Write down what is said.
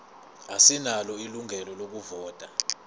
asinalo ilungelo lokuvota